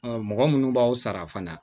mɔgɔ munnu b'aw sara fana